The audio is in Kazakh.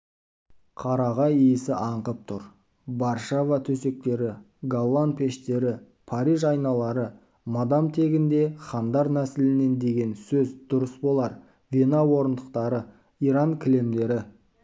қарағай иісі аңқып тұр варшава төсектері голлан пештері париж айналары мадам тегінде хандар нәсілінен деген сөз дұрыс болар вена орындықтары иран кілемдері